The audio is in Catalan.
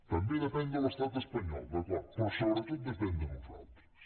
també depèn de l’estat espanyol d’acord però sobretot depèn de nosaltres